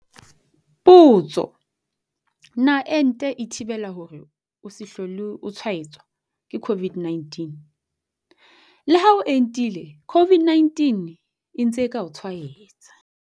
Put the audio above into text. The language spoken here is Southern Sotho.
Potso. Na ente e thibela hore o se hlole o tshwaetswa ke COVID-19? Le ha o entile COVID-19 e ntse e ka o tshwaetsa.